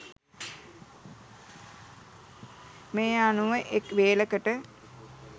මේ අනුව එක් වේලකට